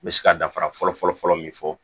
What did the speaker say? N bɛ se ka danfara fɔlɔ fɔlɔ fɔlɔ min fɔ